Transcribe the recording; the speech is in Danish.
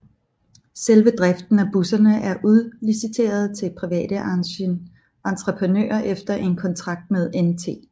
Selve driften af busserne er udliciteret til private entreprenører efter en kontrakt med NT